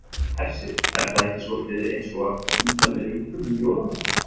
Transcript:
Hersir: Er það ekki soldið eins og að funda með rjúpum um jólamatinn?